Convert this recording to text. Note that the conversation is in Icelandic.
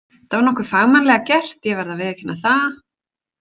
Þetta var nokkuð fagmannlega gert, ég varð að viðurkenna það.